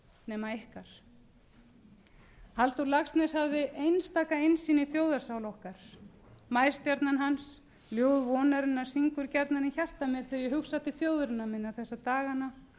nema ykkar halldór laxness hafði einstaka innsýn í þjóðarsál okkar maístjarnan hans ljóð vonarinnar syngur gjarnan í hjarta mér þegar ég hugsa til þjóðarinnar minnar þessa dagana